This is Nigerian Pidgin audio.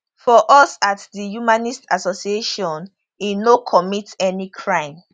for us at di humanist association e no commit any crime